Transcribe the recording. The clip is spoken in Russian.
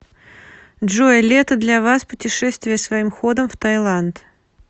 джой лето для вас путешествия своим ходом в таиланд